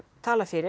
talað fyrir